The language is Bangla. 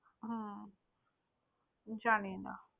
হম জানিনা।